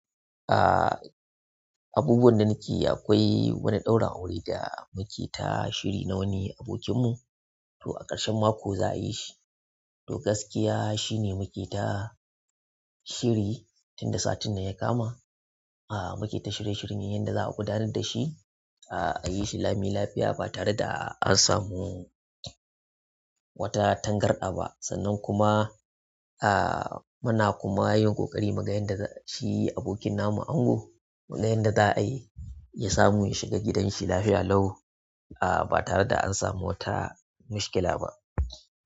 Aaa, abubuwan da nake yi akwai wani ɗaurin aure da muke ta shiri na wani abokinmu. To a ƙarshen mako za a yi shi. To gaskiya shine muke ta shiri tun da satin nan ya kama. Aaa muke ta shirye shiryen yadda za a gudanar da shi, aa a yi shi lami lafiya ba tare da an samu wata tangarɗaba. Sannan kuma aa muna kuma yin ƙoƙari mu ga yadda shi abokin namu ango, yadda za'ayi ya samu ya shiga gidanshi lafiya lau aa ba tare da an samu wata mishkila ba.